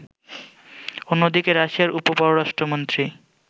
অন্যদিকে, রাশিয়ার উপ-পররাষ্ট্রমন্ত্রী